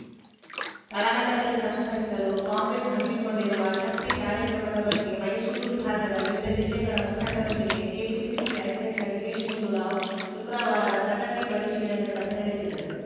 ತಳಮಟ್ಟದಲ್ಲಿ ಸಂಘಟಿಸಲು ಕಾಂಗ್ರೆಸ್‌ ಹಮ್ಮಿಕೊಂಡಿರುವ ಶಕ್ತಿ ಕಾರ್ಯಕ್ರಮದ ಬಗ್ಗೆ ಮೈಸೂರು ವಿಭಾಗದ ವಿವಿಧ ಜಿಲ್ಲೆಗಳ ಮುಖಂಡರೊಂದಿಗೆ ಕೆಪಿಸಿಸಿ ಅಧ್ಯಕ್ಷ ದಿನೇಶ್‌ ಗುಂಡೂರಾವ್‌ ಶುಕ್ರವಾರ ಪ್ರಗತಿ ಪರಿಶೀಲನೆ ಸಭೆ ನಡೆಸಿದರು